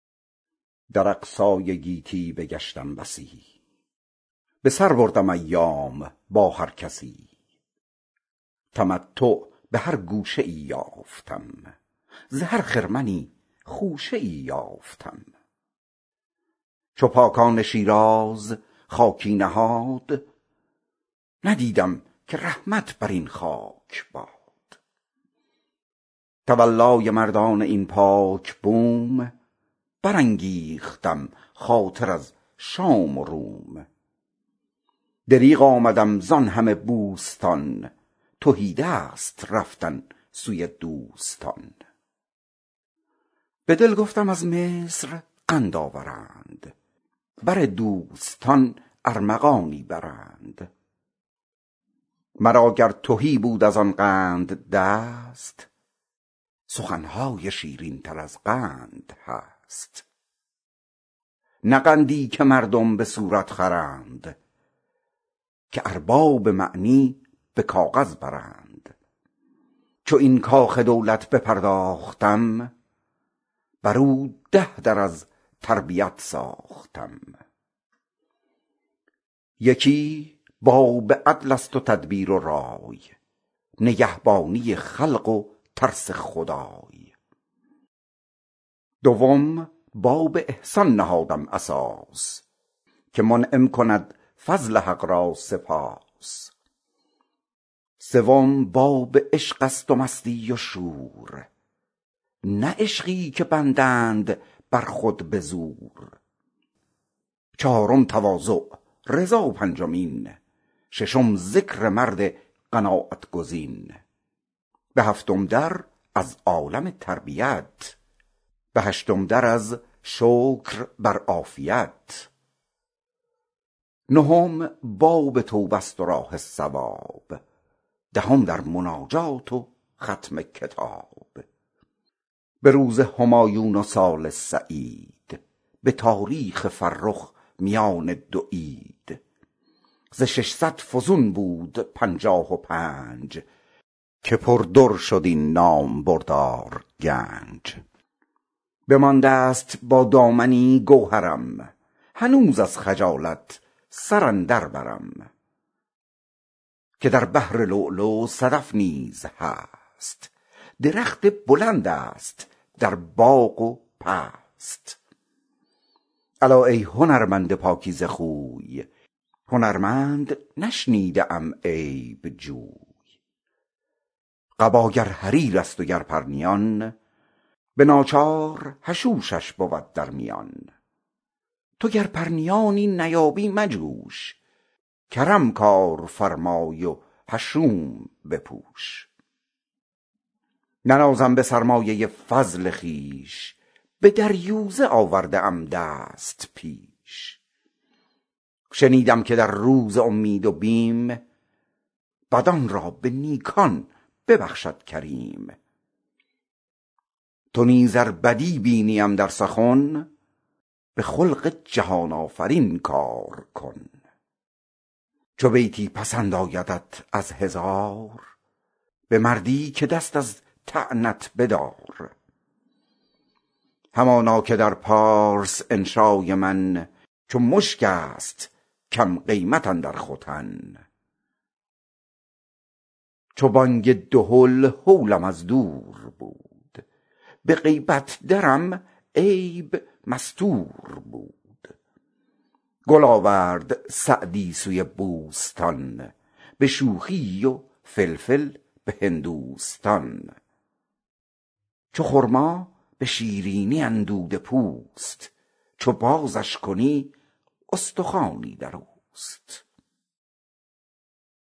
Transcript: در اقصای عالم بگشتم بسی به سر بردم ایام با هر کسی تمتع به هر گوشه ای یافتم ز هر خرمنی خوشه ای یافتم چو پاکان شیراز خاکی نهاد ندیدم که رحمت بر این خاک باد تولای مردان این پاک بوم برانگیختم خاطر از شام و روم دریغ آمدم زآن همه بوستان تهیدست رفتن سوی دوستان به دل گفتم از مصر قند آورند بر دوستان ارمغانی برند مرا گر تهی بود از آن قند دست سخن های شیرین تر از قند هست نه قندی که مردم به صورت خورند که ارباب معنی به کاغذ برند چو این کاخ دولت بپرداختم بر او ده در از تربیت ساختم یکی باب عدل است و تدبیر و رای نگهبانی خلق و ترس خدای دوم باب احسان نهادم اساس که منعم کند فضل حق را سپاس سوم باب عشق است و مستی و شور نه عشقی که بندند بر خود بزور چهارم تواضع رضا پنجمین ششم ذکر مرد قناعت گزین به هفتم در از عالم تربیت به هشتم در از شکر بر عافیت نهم باب توبه است و راه صواب دهم در مناجات و ختم کتاب به روز همایون و سال سعید به تاریخ فرخ میان دو عید ز ششصد فزون بود پنجاه و پنج که پر در شد این نامبردار گنج بمانده ست با دامنی گوهرم هنوز از خجالت به زانو سرم که در بحر لؤلؤ صدف نیز هست درخت بلند است در باغ و پست الا ای خردمند پاکیزه خوی خردمند نشنیده ام عیب جوی قبا گر حریر است و گر پرنیان به ناچار حشوش بود در میان تو گر پرنیانی نیابی مجوش کرم کار فرما و حشوش بپوش ننازم به سرمایه فضل خویش به دریوزه آورده ام دست پیش شنیدم که در روز امید و بیم بدان را به نیکان ببخشد کریم تو نیز ار بدی بینیم در سخن به خلق جهان آفرین کار کن چو بیتی پسند آیدت از هزار به مردی که دست از تعنت بدار همانا که در فارس انشای من چو مشک است بی قیمت اندر ختن چو بانگ دهل هولم از دور بود به غیبت درم عیب مستور بود گل آورد سعدی سوی بوستان به شوخی و فلفل به هندوستان چو خرما به شیرینی اندوده پوست چو بازش کنی استخوانی در اوست